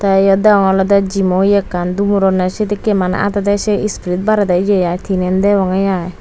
te eyot degongge olode gym mo eya ekkan dumuronne sedekki mane adede say sprit barede eya ai teenen degongge ai.